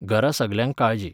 घरा सगल्यांक काळजी.